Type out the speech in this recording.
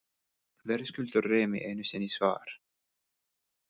Verðskuldar Remi einu sinni svar?